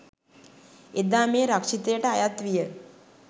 එදා මේ රක්ෂිතයට අයත් විය